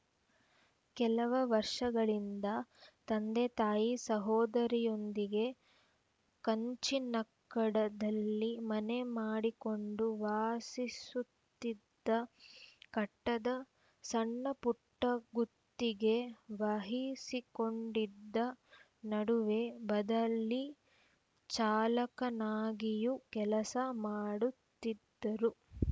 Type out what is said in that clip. ಕೆಲವ ವರ್ಷಗಳಿಂದ ತಂದೆ ತಾಯಿ ಸಹೋದರಿಯೊಂದಿಗೆ ಕಂಚಿನಡ್ಕದಲ್ಲಿ ಮನೆ ಮಾಡಿಕೊಂಡು ವಾಸಿಸುತ್ತಿದ್ದ ಕಟ್ಟಡ ಸಣ್ಣ ಪುಟ್ಟ ಗುತ್ತಿಗೆ ವಹಿಸಿಕೊಂಡಿದ್ದ ನಡುವೆ ಬದಲಿ ಚಾಲಕನಾಗಿಯೂ ಕೆಲಸ ಮಾಡುತ್ತಿದ್ದರು